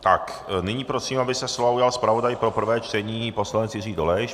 Tak, nyní prosím, aby se slova ujal zpravodaj pro prvé čtení poslanec Jiří Dolejš.